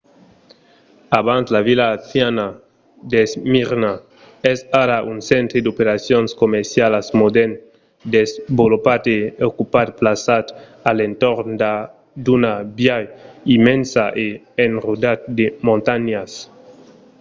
abans la vila anciana d'esmirna es ara un centre d'operacions comercialas modèrn desvolopat e ocupat plaçat a l'entorn d'una baia immensa e enrodat de montanhas